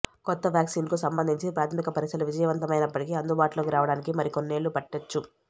కొత్త వ్యాక్సిన్కు సంబంధించి ప్రాథమిక పరీక్షలు విజయవంతమైనప్పటికీ అందుబాటులోకి రావడానికి మరి కొన్నేళ్లు పట్టొచ్చు